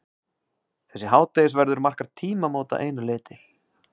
Þessi hádegisverður markar tímamót að einu leyti.